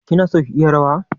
Kina son ki yi rawa?